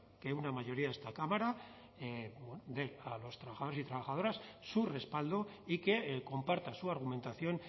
que una mayoría de esta cámara dé a los trabajadores y trabajadoras su respaldo y que comparta su argumentación